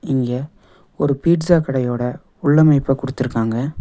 இங்க ஒரு பீட்சா கடையோட உள்ளமைப்ப குடுத்துருக்காங்க.